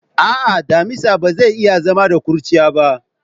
A'a, damisa ba zai iya zama da kurciya ba.